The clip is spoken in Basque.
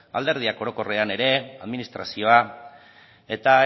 alderdiak orokorrean ere administrazioa eta